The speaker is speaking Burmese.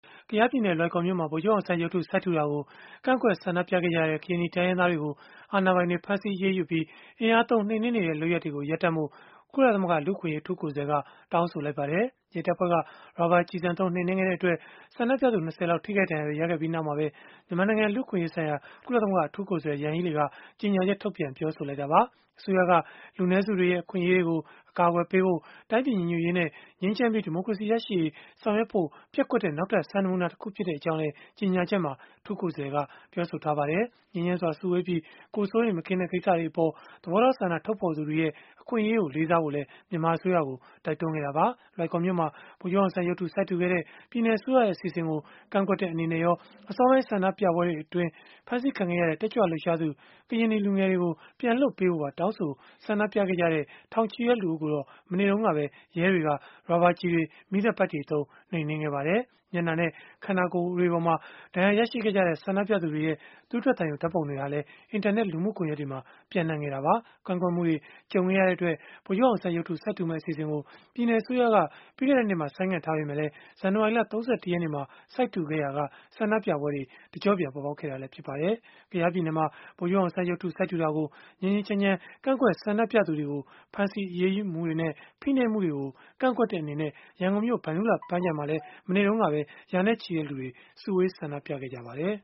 ကယားပြည်နယ် လွိုင်ကော်မြို့မှာ ဗိုလ်ချုပ်အောင်ဆန်းရုပ်ထု စိုက်ထူတာကို ကန့်ကွက်ဆန္ဒပြခဲ့ကြတဲ့ ကရင်နီတိုင်းရင်းသားတွေကို အာဏာပိုင်တွေက ဖမ်းဆီးအရေးယူပြီး၊ အင်အားသုံး နှိမ်နင်းနေတဲ့ လုပ်ရပ်တွေကိုရပ်ဖို့ ကုလသမဂ္ဂ လူ့အခွင့်အရေး အထူးကိုယ်စားလှယ်က တောင်းဆိုလိုက်ပါတယ်။ ရဲတပ်ဖွဲ့က ရာဘာကျည်ဆံသုံး နှိမ်နင်းခဲ့တဲ့အတွက် ဆန္ဒပြသူ ၂၀ လောက် ထိခိုက်ဒဏ်ရာတွေ ရခဲ့ပြီးနောက်မှာပဲ မြန်မာနိုင်ငံ လူ့အခွင့်အရေးဆိုင်ရာ ကုလသမဂ္ဂ အထူးကိုယ်စားလှယ် Yanghee Lee က ကြေညာချက်ထုတ်ပြန် ပြောဆိုလိုက်တာပါ။ အစိုးရက လူနည်းစုတွေရဲ့ အခွင့်အရေးတွေကို အကာအကွယ်ပေးဖို့၊ တိုင်းပြည်ကိုညီညွတ်ဖို့ ငြိမ်းချမ်းပြီး ဒီမိုကရေစီရရှိရေး ဆောင်ရွက်ဖို့ ပျက်ကွက်တဲ့ နောက်ထပ်စံနမူနာ တခုဖြစ်ကြောင်းလည်း ကြေညာချက်မှာ အထူးကိုယ်စားလှယ်က ပြောဆိုထားပါတယ်။ မြန်မာအစိုးရ အနေနဲ့ ငြိမ်းချမ်းစွာစုဝေးပြီး၊ ကိုယ်စိုးရိမ်မကင်းတဲ့ ကိစ္စတွေအပေါ် သဘောထားဆန္ဒ ထုတ်ဖော်သူတွေရဲ့ အခွင့်အရေးကို လေးစားဖို့လည်း တိုက်တွန်းခဲ့တာပါ။ လွိုင်ကော်မြို့မှာ ဗိုလ်ချုပ်အောင်ဆန်းရုပ်တု စိုက်ထူခဲ့တဲ့ ပြည်နယ်အစိုးရရဲ့ အစီအစဉ်ကို ကန့်ကွက်တဲ့ အနေနဲ့ရော အစောပိုင်း ဆန္ဒပြပွဲတွေအတွင်း ဖမ်းဆီးခံခဲ့ရတဲ့ တက်ကြွလှုပ်ရှားသူ ကရင်နီလူငယ်တွေကို ပြန်လွှတ်ပေးဖို့ပါ တောင်းဆို ဆန္ဒပြခဲ့ကြတဲ့ ထောင်ချီတဲ့ လူအုပ်ကိုတော့ မနေ့တုန်းက ရဲတွေက ရာဘာကျည်တွေ၊ မီးသတ်ပိုက်တွေသုံး နှိမ်နင်းခဲ့ပါတယ်။ မျက်နှာနဲ့ ခန္ဓာကိုယ်မှာ ဒဏ်ရာရရှိခဲ့ကြတဲ့ ဆန္ဒပြသူတွေရဲ့ သွေးထွက်သံယို ဓာတ်ပုံတွေဟာလည်း အင်တာနက် လူမှုကွန်ရက်တွေမှာ ပျံ့နှံ့ခဲ့တာပါ။ ကန့်ကွက်မှုတွေ ကြုံခဲ့ရတဲ့အတွက် ဗိုလ်ချုပ်အောင်ဆန်းရုပ်တု စိုက်ထူမယ့် အစီအစဉ်ကို ပြည်နယ်အစိုးရက ပြီးခဲ့တဲ့နှစ်မှာ ဆိုင်းငံ့ထားခဲ့ပေမဲ့ ဇန်နဝါရီလ ၃၁ ရက်နေ့မှာ စိုက်ထူခဲ့ရာက ဆန္ဒပြပွဲတွေ တကျော့ပြန် ပေါ်ပေါက်လာခဲ့တာလည်း ဖြစ်ပါတယ်။ ကယားပြည်နယ်မှာ ဗိုလ်ချုပ်အောင်ဆန်းရုပ်တု စိုက်ထူတာကို ငြိမ်းငြိမ်းချမ်းချမ်း ကန့်ကွက်ဆန္ဒပြသူတွေကို ဖမ်းဆီးအရေးယူမှုတွေနဲ့ ဖိနှိပ်မှုတွေကို ကန့်ကွက်တဲ့အနေနဲ့ ရန်ကုန်မြို့ ဗန္ဓုလပန်းခြံမှာမှာလည်း မနေ့တုန်းက ရာနဲ့ချီတဲ့လူတွေ စုဝေးဆန္ဒပြခဲ့ကြပါတယ်